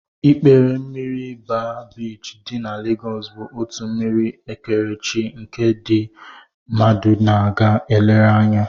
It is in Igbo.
Ikpere mmiri baa biichi dị na Legos bụ otu mmiri ekerechi nke ndị mmadụ na-aga elere anya